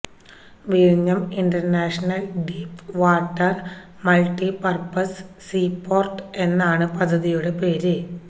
വിഴിഞ്ഞം international deep water multipurpose sea port എന്നാണ് പദ്ധതിയുടെ പേര്